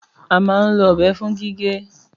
Àmá ń lo ọbẹ fún gígè.